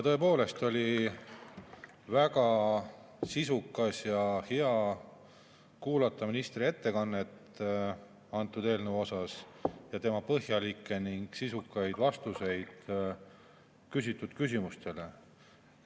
Tõepoolest oli väga hea kuulata ministri ettekannet ning tema põhjalikke ja sisukaid vastuseid küsimustele selle eelnõu kohta.